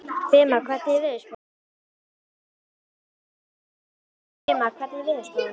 Fema, hvernig er veðurspáin?